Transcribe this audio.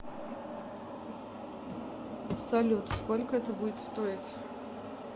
салют сколько это будет стоить